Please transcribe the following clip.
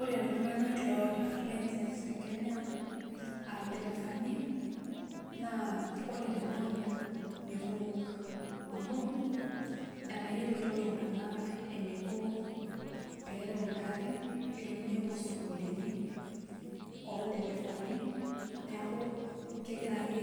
Ore ltunganak loota license tekenya a lderefani na ore tenanu mekumok amu etayioloto ltunganak eniko perew ngarin itu nye epuo sukulini olderefani neaku kegira ake